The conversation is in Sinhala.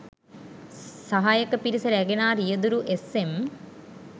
සහායක පිරිස රැගෙන ආ රියදුරු එස්.එම්